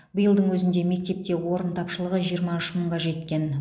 биылдың өзінде мектепте орын тапшылығы жиырма үш мыңға жеткен